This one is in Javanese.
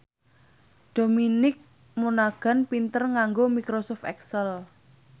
Dominic Monaghan pinter nganggo microsoft excel